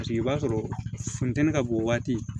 Paseke i b'a sɔrɔ funteni ka bon o waati